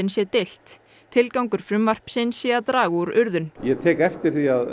sé deilt tilgangur frumvarpsins sé að draga úr urðun ég tek eftir því að